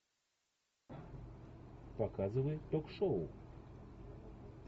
показывай ток шоу